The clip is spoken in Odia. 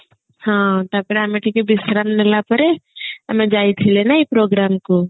ହଁ ତାପରେ ଆମେ ଟିକେ ବିଶ୍ରାମ ନେଲା ପରେ ଆମେ ଯାଇଥିଲେ ନାଇଁ program କୁ